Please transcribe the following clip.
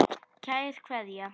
Kær Kveðja.